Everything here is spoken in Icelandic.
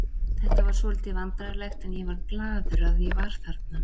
Þetta var svolítið vandræðalegt en ég var glaður að ég var þarna.